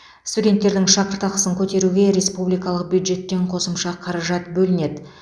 студенттердің шәкіртақысын көтеруге республикалық бюджеттен қосымша қаражат бөлінеді